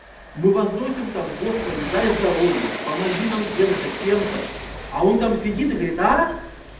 мы возносим там господи дай здоровья помоги нам тем-то сем-то а он там сидит и говорит а